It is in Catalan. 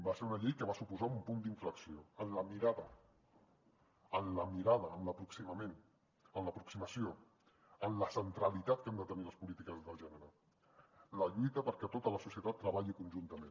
va ser una llei que va suposar un punt d’inflexió en la mirada en l’aproximament en l’aproximació en la centralitat que han de tenir les polítiques de gènere la lluita perquè tota la societat hi treballi conjuntament